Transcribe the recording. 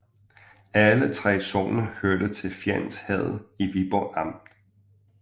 Alle 3 sogne hørte til Fjends Herred i Viborg Amt